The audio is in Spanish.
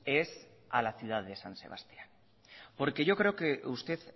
es a la ciudad de san sebastián porque yo creo que usted